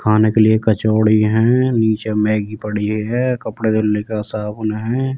खाने के लिए कचौड़ी है। नीचे मेग्गी पड़ी है। कपडे धुलने का साबुन हैं।